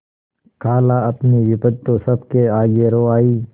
खालाअपनी विपद तो सबके आगे रो आयी